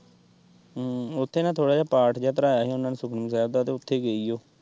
ਹਮ ਉੱਥੇ ਨਾ ਥੋੜ੍ਹਾ ਜਿਹਾ ਪਾਠ ਜਿਹਾ ਪੜ੍ਹਾਇਆ ਹੀ ਉਹਨਾਂ ਨੇ ਸੁਖਮਨੀ ਸਾਹਿਬ ਦਾ ਤੇ ਉੱਥੇ ਗਈ ਓ।